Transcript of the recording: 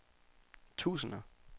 tusinder